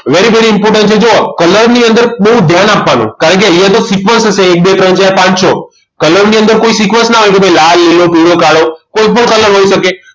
very very important છે જુઓ colour ની અંદર બહુ ધ્યાન આપવાનું કારણ કે અહીંયા તો sequence હશે એક બે ત્રણ ચાર પાંચ છ colour ની અંદર કોઈ sequence ના હોય કે ભાઈ લાલ લીલો પીળો કાળો કોઈ પણ colour હોઈ શકે